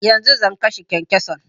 Yanzu zan kashe kyankyason